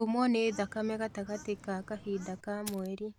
Kuumwo nĩ thakame gatagatĩ ka kahinda ka mweri